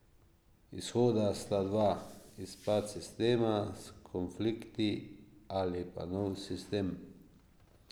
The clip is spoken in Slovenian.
Izhoda sta dva, razpad sistema s konflikti ali pa nov sistem.